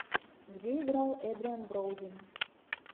где играл эдриан броуди